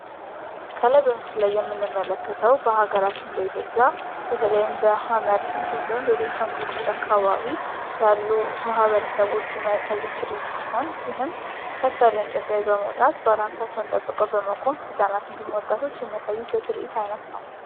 ከላይ በምስሉ ላይ የምንመለከተው በሀገራችን በኢትዮጵያ በተለይም በሀመር እንድሁም ደግሞ በቤንሻንጉል ጉሙዝ አካባቢ ያሉ ማህበረሰቦች የሚያሳዩት ትርኢት ሲሆን ይህም ከፍ ያለ እንጨት ላይ በመውጣት ባላንሳቸውን ጠብቀው በመቆም ህጻናት እንድሁም ወጣቶች የሚያሳዩት የትርኢት አይነት ነው።